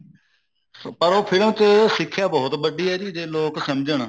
ਪਰ ਉਹ ਫਿਲਮ ਚ ਸਿੱਖਿਆ ਬਹੁਤ ਵੱਡੀ ਐ ਜੇ ਲੋਕ ਸਮਝਣ